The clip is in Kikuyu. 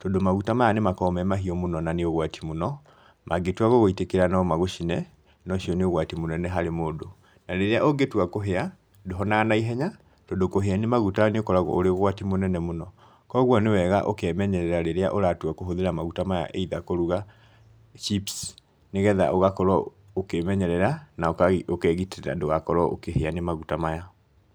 tondũ maguta maya nĩ makoragwo me mahiũ mũno na nĩ ũgwati mũno, mangĩtua gũgũitĩkĩra no magũcine, nocio nĩ ũgwati mũnene harĩ mũndũ, na rĩrĩa ũngĩtua kũhĩa ndũhonaga naihenya, tondũ kũhĩa nĩ maguta nĩ ũkoragwo ũrĩ ũgwati mũnene mũno. Koguo nĩ wega ũkemenyerera rĩrĩa ũratua kũhũthĩra maguta maya either kũruga chips nĩgetha ũgakorwo ũkĩĩmenyerera na ũkegitĩra ndũgakorwo ũkĩhĩa nĩ maguta maya.